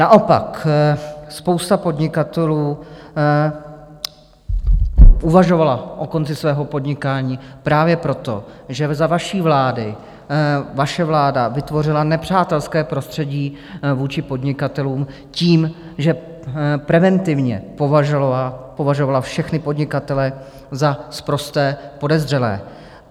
Naopak, spousta podnikatelů uvažovala o konci svého podnikání právě proto, že za vaší vlády, vaše vláda vytvořila nepřátelské prostředí vůči podnikatelům tím, že preventivně považovala všechny podnikatele za sprosté podezřelé.